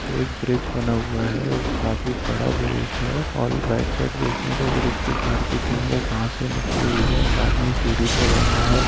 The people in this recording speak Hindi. तो एक ब्रिज बना हुआ है उ काफी बड़ा ब्रिज है और राइट साइड देखे तो एक दो घर दिखेंगे घासे निकली हुई है एक आदमी सीढ़ी पे बैठा है।